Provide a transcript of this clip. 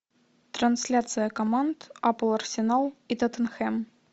трансляция команд апл арсенал и тоттенхэм